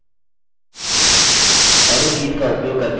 इन दो आकृतियों को बनाएँ